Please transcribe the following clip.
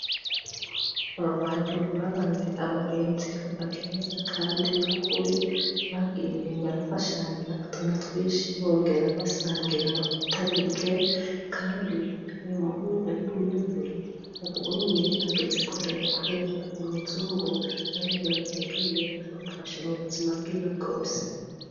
Aba bantu babaye abagenzi kuva kera kandi bukuri , bagiye barafashanya utuntu twinshi bongera basangira ibitari bike kandi uyu muhungu w'imwirabure ubu unye ageze kure kubera uyu muzungu ariwe yagiye aramufasha mu buzima bwiwe bwose.